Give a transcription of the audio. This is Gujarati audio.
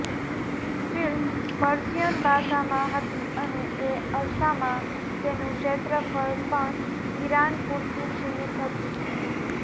ફ્લ્મિ પર્શિયન ભાષામાં હતી અને એ અરસામાં તેનું ક્ષેત્રફ્ળ પણ ઈરાન પૂરતું સીમિત હતું